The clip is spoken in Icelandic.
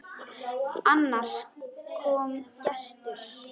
Annars kom gestur.